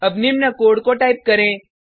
अब निम्न कोड को टाइप करें